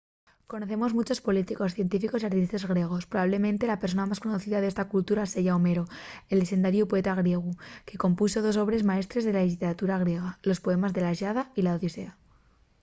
conocemos munchos políticos científicos y artistes griegos. probablemente la persona más conocida d’esta cultura seya homero el llexendariu poeta griegu que compunxo dos obres maestres de la lliteratura griega: los poemes de la iliada y la odisea